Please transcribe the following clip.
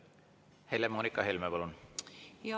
Helle-Moonika Helme, palun!